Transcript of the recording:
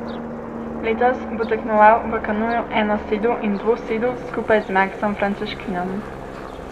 Letos bo tekmoval v kanuju enosedu in dvosedu skupaj z Maksom Frančeškinom.